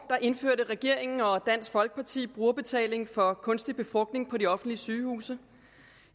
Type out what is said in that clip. indførte regeringen og dansk folkeparti brugerbetaling for kunstig befrugtning på de offentlige sygehuse